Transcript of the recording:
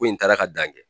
Ko in taara ka dan kɛ